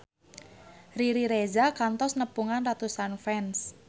Riri Reza kantos nepungan ratusan fans